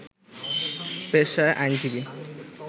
পেশায় আইনজীবী